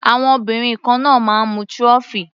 Àwọn obìnrin kan náà máa ń mu trophy.